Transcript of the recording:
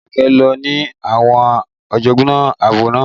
Alake lo ni àwọn àjọgbá abọ́ náà